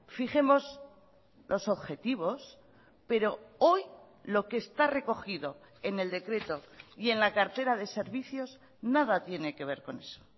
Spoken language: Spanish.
fijemos los objetivos pero hoy lo que está recogido en el decreto y en la cartera de servicios nada tiene que ver con eso